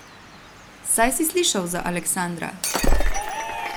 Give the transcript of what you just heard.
Saj si slišal za Aleksandra?